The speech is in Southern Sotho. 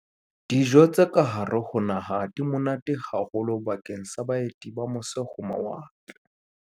Dijo tsa kahare ho naha di monate haholo bakeng sa baeti ba mose-ho-mawatle.